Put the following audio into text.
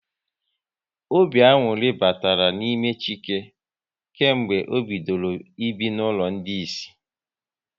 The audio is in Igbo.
Obi aṅụrị batara n'ime Chike kemgbe ọ bidoro ibi n'ụlọ ndị Ịsị